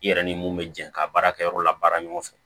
I yɛrɛ ni mun bɛ jɛ ka baara kɛ yɔrɔ la baara ɲɔgɔn fɛ